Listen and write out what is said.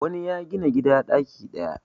wani ya Gina gida daki daya